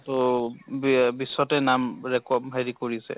তহ বিয়া বিশ্বতে নাম ৰেকʼ হেৰি কৰিছে